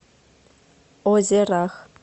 озерах